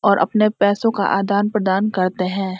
और अपने पैसों का आदान प्रदान करते हैं।